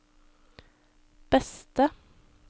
beste